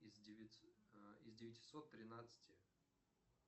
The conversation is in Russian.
из девятисот тринадцати